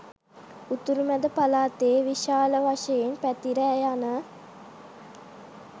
උතුරු මැද පළාතේ විශාල වශයෙන් පැතිර යන